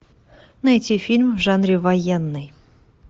найти фильм в жанре военный